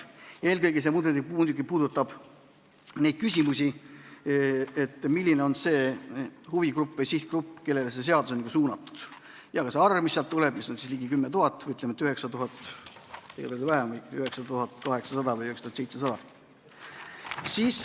Eelkõige muidugi puudutab see neid küsimusi, et milline on huvigrupp või sihtgrupp, kellele see seadus on suunatud, ja ka selle arvuline suurus, mis on ligi 10 000, ütleme, et 9800 või 9700.